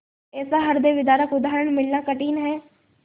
ऐसा हृदयविदारक उदाहरण मिलना कठिन है